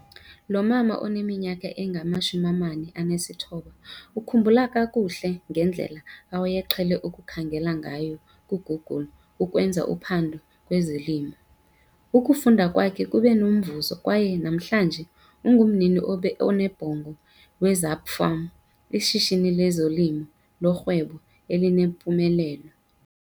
Lo mama oneminyaka engama-49 ukhumbula kakuhle ngedlela awayeqhele ukukhangela ngayo kuGoogle ukwenza uphando kwezolimo. Ukufunda kwakhe kube nomvuzo kwaye namhlanje, ungumnini onebhongo we-Zapa Farm, ishishini lezolimo lorhwebo elinempumelelo.